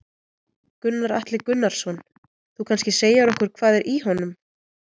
Gunnar Atli Gunnarsson: Þú kannski segir okkur hvað er í honum?